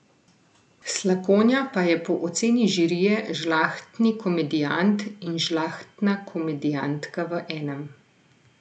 Slakonja pa je po oceni žirije žlahtni komedijant in žlahtna komedijantka v enem.